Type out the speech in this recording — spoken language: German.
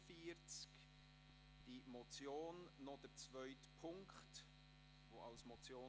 Bei der Motion steht noch der zweite Punkt, als Motion.